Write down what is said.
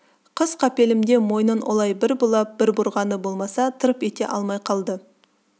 қыз қапелімде мойнын олай бір бұлай бір бұрғаны болмаса тырп ете алмай қалды